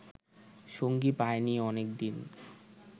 সঙ্গী পায়নি অনেকদিন